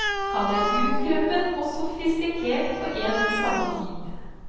Han er utkrøpen og sofistikert på en og samme tid.